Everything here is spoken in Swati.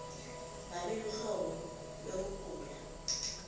ngabe luhlobo lwekugula